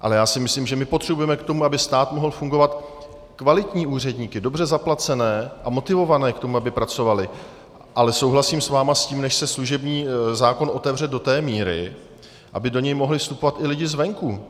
Ale já si myslím, že my potřebujeme k tomu, aby stát mohl fungovat, kvalitní úředníky, dobře zaplacené a motivované k tomu, aby pracovali, ale souhlasím s vámi s tím, než se služební zákon otevře do té míry, aby do něj mohli vstupovat i lidi zvenku.